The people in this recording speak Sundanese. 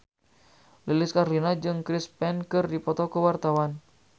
Lilis Karlina jeung Chris Pane keur dipoto ku wartawan